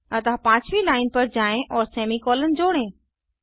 अतः पाँचवी लाइन पर जाएँ और सेमी कॉलन जोड़ें